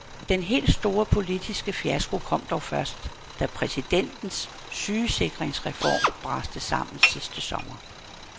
Den helt store politiske fiasko kom dog først, da præsidentens sygesikringsreform braste sammen sidste sommer.